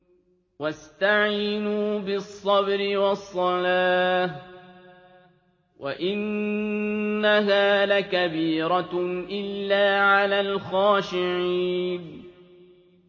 وَاسْتَعِينُوا بِالصَّبْرِ وَالصَّلَاةِ ۚ وَإِنَّهَا لَكَبِيرَةٌ إِلَّا عَلَى الْخَاشِعِينَ